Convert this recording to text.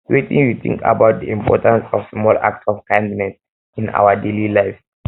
wetin you think um about di importance of small acts of kindness in um our daily lives